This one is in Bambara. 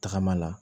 Tagama la